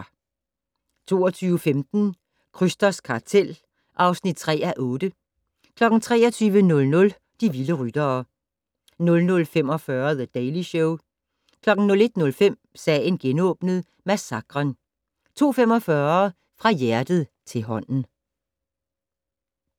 22:15: Krysters kartel (3:8) 23:00: De vilde ryttere 00:45: The Daily Show 01:05: Sagen genåbnet: Massakren 02:45: Fra hjertet til hånden